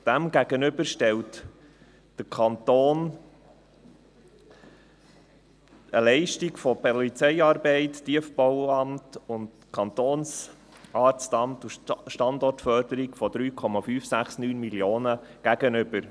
Dem stellt der Kanton eine Leistung von Polizeiarbeit, Tiefbauamt, Kantonsarztamt und Standortförderung von 3,569 Mio. Franken gegenüber.